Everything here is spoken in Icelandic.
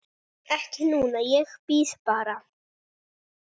Ekki núna, ég bíð bara.